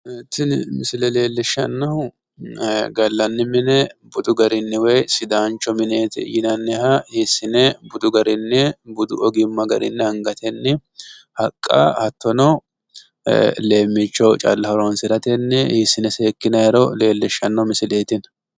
tini misile leellishshanno garinni gallanni mine sidaanchoho yinaniha hiissine budu egennonni calla hiissine budu ogimma garini hiissine seekkinanniro leeleshshano misileeti,